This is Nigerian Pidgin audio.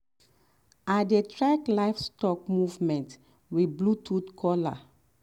i dey track livestock movement with bluetooth collar. um